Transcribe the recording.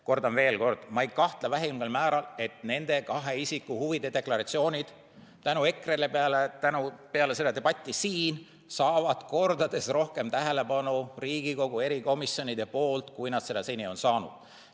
Kordan veel kord, ma ei kahtle vähimalgi määral, et nende kahe isiku huvide deklaratsioonid tänu EKRE-le, tänu peale seda debatti siin saavad kordades rohkem tähelepanu Riigikogu erikomisjonides, kui nad seni on saanud.